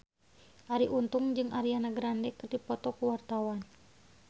Arie Untung jeung Ariana Grande keur dipoto ku wartawan